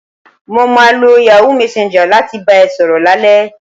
Mo máa lo Yahoo messenger láti bá ẹ sọ̀rọ̀ lálẹ́